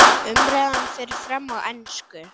Umræðan fer fram á ensku.